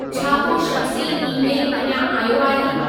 छा को शख़्सी ई-मेलु अञा आयो आहे